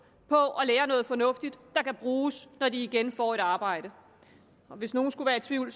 på at lære noget fornuftigt der kan bruges når de igen får et arbejde hvis nogen skulle være i tvivl